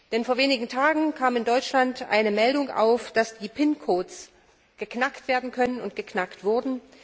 Denn vor einigen Tagen kam in Deutschland eine Meldung auf, dass die Pincodes geknackt werden können und geknackt wurden.